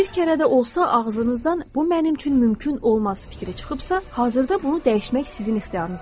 Bir kərə də olsa ağzınızdan bu mənim üçün mümkün olmaz fikri çıxıbsa, hazırda bunu dəyişmək sizin ixtiyarınızdadır.